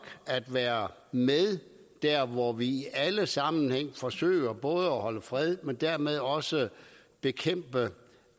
at være med der hvor vi i alle sammenhænge forsøger både at holde fred men dermed også at bekæmpe